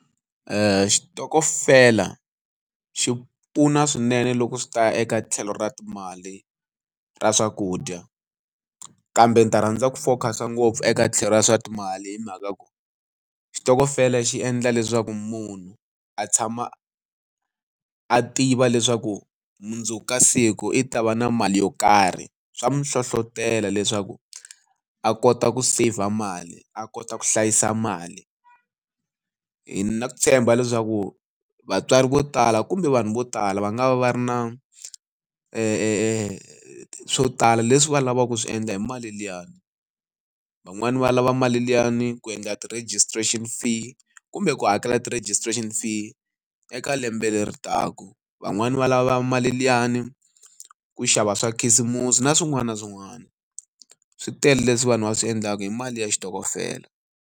xitokofela xi pfuna swinene loko swi ta eka tlhelo ra timali ra swakudya. Kambe ndzi ta rhandza ku focus-a ngopfu eka tlhelo ra swa timali hi mhaka ya ku, xitokofela xi endla leswaku munhu a tshama a tiva leswaku mundzuku ka siku i ta va na mali yo karhi. Swa n'wi hlohletela leswaku a kota ku seyivha mali, a kota ku hlayisa mali. ni na ku tshemba leswaku vatswari vo tala kumbe vanhu vo tala va nga va va ri na swo tala leswi va lavaka ku swi endla hi mali liyani. Van'wani va lava mali liyani ku endla ti-registration fee kumbe ku hakela ti-registration fee eka lembe leri taka. Van'wani va lava mali liyani ku xava swa khisimusi na swin'wana na swin'wana. Swi tele leswi vanhu va swi endlaka hi mali ya xitokofela.